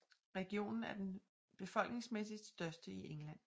Regionen er den befolkningsmæssigt største i England